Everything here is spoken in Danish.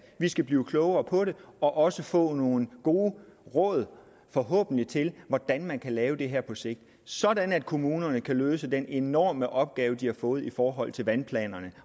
vi skal blive klogere på det og også få nogle gode råd forhåbentlig til hvordan man kan lave det her på sigt sådan at kommunerne kan løse den enorme opgave de har fået i forhold til vandplanerne